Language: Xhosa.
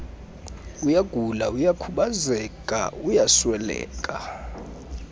uyagula uyakhubazeka uyasweleka